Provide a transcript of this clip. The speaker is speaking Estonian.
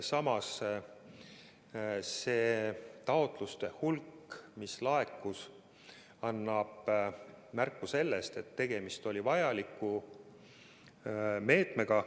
Samas see taotluste hulk, mis laekus, annab märku sellest, et tegemist oli vajaliku meetmega.